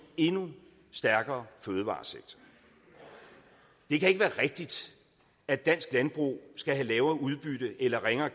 endnu stærkere fødevaresektor det kan ikke være rigtigt at dansk landbrug skal have lavere udbytte eller ringere